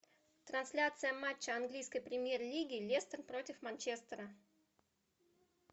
трансляция матча английской премьер лиги лестер против манчестера